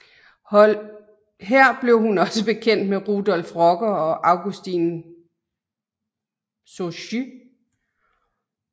Her blev hun også bekendt med Rudolf Rocker og Augustin Souchy